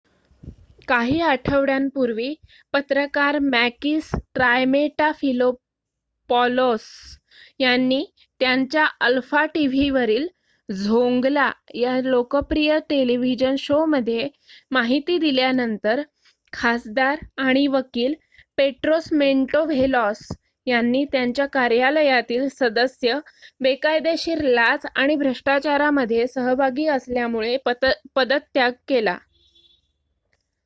"काही आठवड्यांपूर्वी पत्रकार मॅकिस ट्रायमेटाफिलोपॉलोस यांनी त्यांच्या अल्फा टीव्हीवरील "झोंगला" या लोकप्रिय टेलिव्हिजन शोमध्ये माहिती दिल्यानंतर खासदार आणि वकील पेट्रोस मॅन्टोव्हेलॉस यांनी त्यांच्या कार्यालयातील सदस्य बेकायदेशीर लाच आणि भ्रष्टाचारामध्ये सहभागी असल्यामुळे पदत्याग केला.